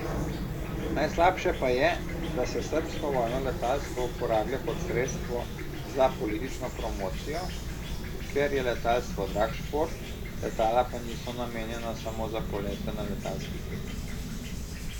Najslabše pa je, da se srbsko vojno letalstvo uporablja kot sredstvo za politično promocijo, ker je letalstvo drag šport, letala pa niso namenjena samo za polete na letalskih mitingih.